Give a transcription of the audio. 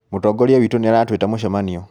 Mũtongoria witũ nĩaratũita mũcemanio